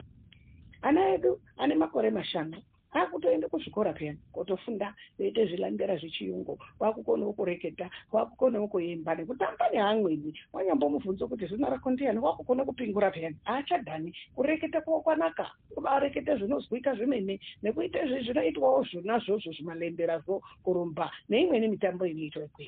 Ana edu ane makore mashanu akutoende kuzvikora peyani, kutofunda veiita zvilandera zvechiyungu. Vakukonawo kureketa, vakukonawo kuemba, kutamba neamweni. Wanyamubvunza kuti Zina rako ndiani wakukone kupingura pheyani. Achadhani, kureketa kwawo kwanaka , obareketa zvinozwika zvemene nekuita zvinoitwawo zvona izvozvo zvimalenderazvo, kurumba neimweni mitambo inoitwa ikweyo.